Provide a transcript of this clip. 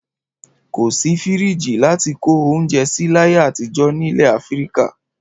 Kò sí fíríjì láti kó oúnjẹ sí láyé àtijọ́ nílẹ̀ Áfíríkà.